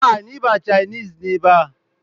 A'a, ni ma cainis ne ba.